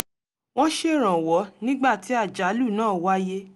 wọ́n ṣèrànwọ́ nígbà tí àjálù náà wáyé